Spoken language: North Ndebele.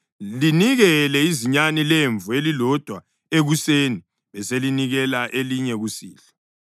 Linikele izinyane lemvu elilodwa ekuseni beselinikela elinye kusihlwa,